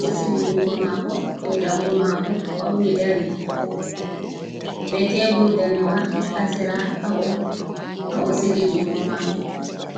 ɗo sigi junngo maako dow danngo maako fawni dari. Bee teeburwa ndanewa haa sera haa o sigi junngo maako.